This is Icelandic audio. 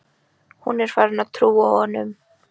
Hún er farin að trúa honum.